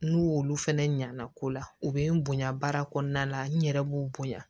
N'u olu fɛnɛ ɲana ko la u bɛ n bonya baara kɔnɔna la n yɛrɛ b'u bonya